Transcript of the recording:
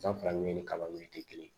San fila ni kalanw tɛ kelen ye